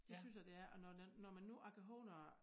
Det synes jeg det er og når når når man nu jeg kan hove når